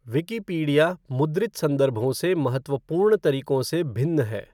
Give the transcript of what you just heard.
Wikipedia मुद्रित संदर्भों से महत्वपूर्ण तरीकों से भिन्न है।